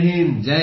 Jai Hind